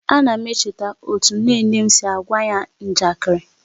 A na m echeta otu nne nne m siri á gwa anyị njakịrị